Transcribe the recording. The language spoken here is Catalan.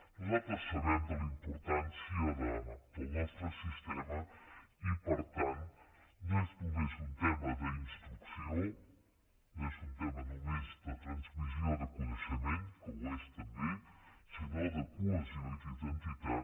nosaltres sabem de la importància del nostre sistema i per tant no és només un tema d’instrucció no és un tema només de transmissió de coneixement que ho és també sinó de cohesió i d’identitat